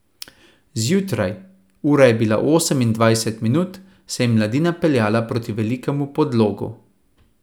Zjutraj, ura je bila osem in dvajset minut, se je mladina peljala proti Velikemu Podlogu.